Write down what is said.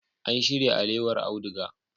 An shirya alewar auduga.